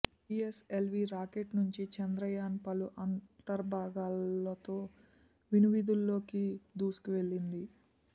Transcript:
GSLV rocket నుంచి చంద్రయాన్ పలు అంతర్భాగాలతో వినువీధులలోకి దూ సుకువెళ్లింది